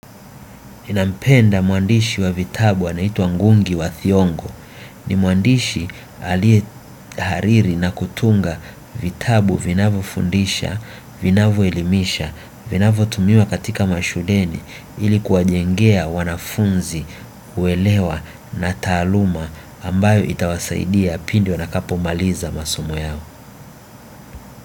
Ninampenda mwandishi wa vitabu anaitwa ngungi wa thiongo ni mwandishi alie hariri na kutunga vitabu vinavyofundisha, vinavyoelimisha, vinavyotumiwa katika mashuleni ili kuwajengea wanafunzi, kuelewa na taaluma ambayo itawasaidia pindu wanakapomaliza masumo yao.